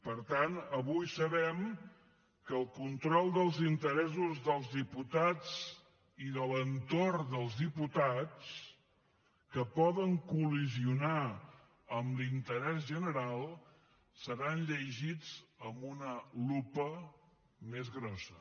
per tant avui sabem que el control dels interessos dels diputats i de l’entorn dels diputats que poden col·lidir amb l’interès general seran llegits amb una lupa més grossa